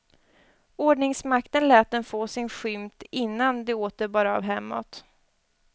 Ordningsmakten lät dem få sin skymt innan det åter bar av hemåt.